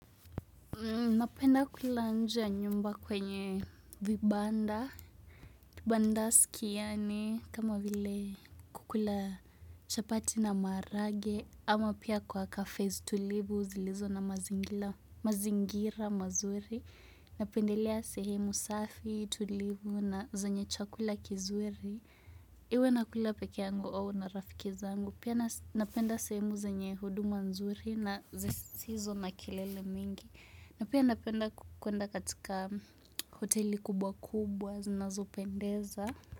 Napenda kula nje ya nyumba kwenye vibanda, vibandaski yaani, kama vile kukula chapati na maharagwe, ama pia kwa cafes tulivu zilizo na mazingira mazuri. Napendelea sehemu safi tulivu na zenye chakula kizuri, iwe nakula pekee yangu au na rafiki zangu. Pia napenda sehemu zenye huduma nzuri na zisizo na kelele mingi. Na pia napenda kuenda katika hoteli kubwa kubwa zinazopendeza.